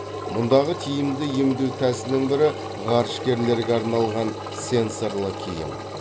мұндағы тиімді емдеу тәсілінің бірі ғарышкерлерге арналған сенсорлы киім